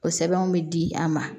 O sɛbɛnw bɛ di an ma